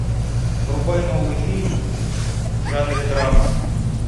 врубай новый фильм в жанре драма